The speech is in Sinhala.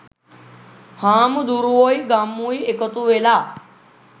හාමුදුරුවොයි ගම්මුයි එකතුවෙලා